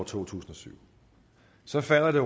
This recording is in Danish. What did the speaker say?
tusind og syv så falder det